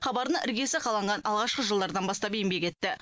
хабардың іргесі қаланған алғашқы жылдардан бастап еңбек етті